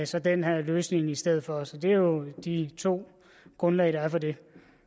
så den her løsning i stedet for så det er jo de to grundlag der er for det